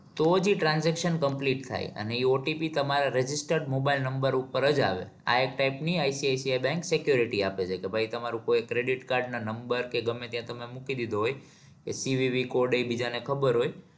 તો જ ઇ transition complete થાય અને ઇ OTP તમારા register mobile number ઉપર જ આવે આ એક type ની ICICI bank security આપે છે કે ભાઈ તમારું કોઈ credit card ના number કે ગમે ત્યાં તમે મૂકી દીધો હોય CVVcode એ બીજાને ખબર હોય.